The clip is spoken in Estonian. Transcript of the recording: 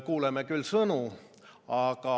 Kuuleme küll sõnu.